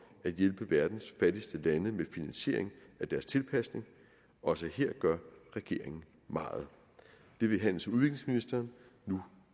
at hjælpe verdens fattigste lande med finansiering af deres tilpasning også her gør regeringen meget det vil handels og udviklingsministeren nu